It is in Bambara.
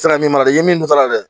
Sira min b'a la i ye min don a la dɛ